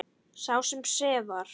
Sá sem sefar.